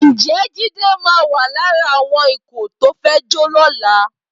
Ǹjẹ́ Jídé máa wà lára àwọn ikọ̀ tó fẹ́ jó lọ́la?